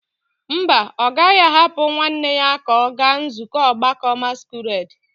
Mba, ọ gaghị ahapụ nwanne ya ka ọ gaa nzukọ ọgbakọ masquerade.